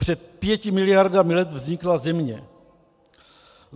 Před pěti miliardami let vznikla Země.